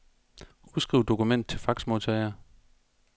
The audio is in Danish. Udskriv dokument til faxmodtager.